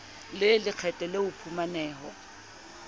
le lekgetho le o phumaneho